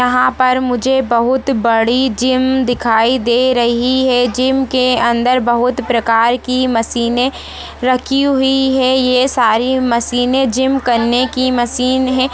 यहाँ पर मुझे बहुत बड़ी जिम दिखाई दे रही है जीम के अंदर बहुत प्रकार की मशीने रखी हुई है ये सारी मशीने जिम करने की मशीन है।